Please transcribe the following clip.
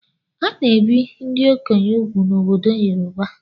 A na-ebi ndị okenye úgwù n'obodo Yoroba.